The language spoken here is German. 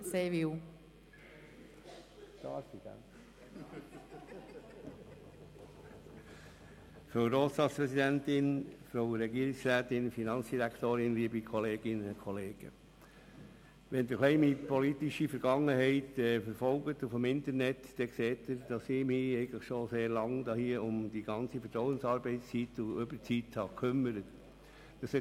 Wenn Sie im Internet meine politische Vergangenheit verfolgen, erkennen Sie, dass ich mich schon seit Langem mit den Themen Vertrauensarbeitszeit und Überzeit befasse.